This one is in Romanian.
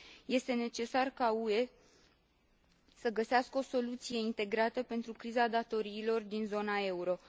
Este necesar ca UE să găsească o soluție integrată pentru criza datoriilor din zona euro.